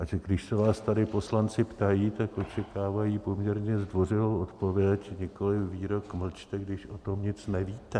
A když se vás tady poslanci ptají, tak očekávají poměrně zdvořilou odpověď, nikoliv výrok "mlčte, když o tom nic nevíte".